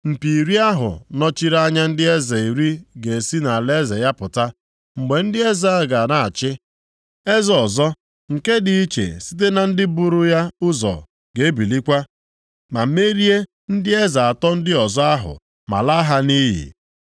Mpi iri ahụ nọchiri anya ndị eze iri ga-esi nʼalaeze ya pụta. Mgbe ndị eze a ga na-achị, eze ọzọ, nke dị iche site na ndị bụrụ ya ụzọ ga-ebilikwa, ma merie ndị eze atọ ndị ọzọ ahụ ma laa ha nʼiyi.